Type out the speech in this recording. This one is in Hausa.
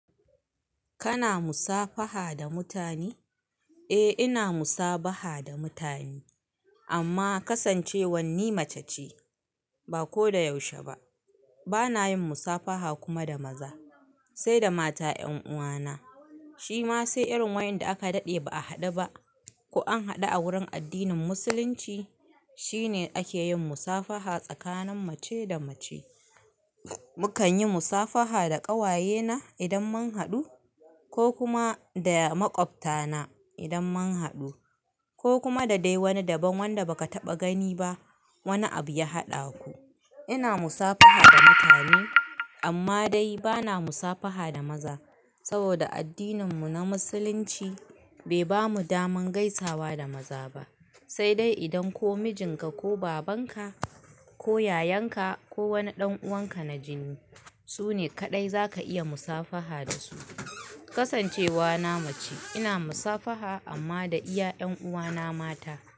Kana musafaha da mutane? Eh ina musabaha da mutane amma kasancewan ni maca ce, ba ko da yaushe ba. Bana yin musafaha kuma da maza, sai da mata 'yan uwana. Shi ma sai irin wayanda aka daɗe ba a haɗu ba. Ko an haɗu a wurin addinin musulunci shine ake yin musafaha tsakanin mace da mace. Mukan yi musafaha da ƙawayena idan mun haɗu ko kuma da maƙwabtana idan mun haɗu ko kuma da dai wani daban wanda baka taɓa gani ba wani abu ya haɗa ku. Ina musafaha da mutane amma dai bana musafaha da maza saboda addininmu na musulunci bai bamu daman gaisawa da maza ba. Sai dai idan ko mijinka ko babanka ko yayanka ko wani ɗan'uwanka na jini, su ne kaɗai zaka iya musafaha da su. Kasancewa na mace ina musafaha amma da iya 'yan uwana mata.